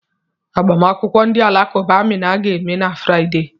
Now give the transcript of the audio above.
Agbamakwụkwọ ndị Alakụba Amina ga-eme na Fraịde.